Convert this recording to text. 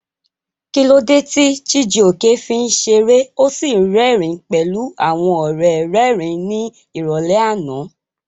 Kí ló dé tí Chijioke fi ń ṣeré ó sì rẹ́rìn-ín pẹ̀lú àwọn ọ̀rẹ́ rẹ́rìn-ín ní ìrọ̀lẹ́ àná?